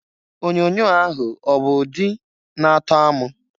Onyoonyo ahụ ọ bụ ụdi na-atọ amụ?